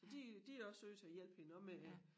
Så de de også nødt til at hjælpe hende også med